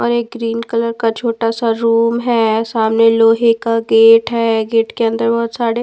और एक green colour का छोटा सा रूम है सामने लोहे का गेट है गेट के अंदर बहुत सारे--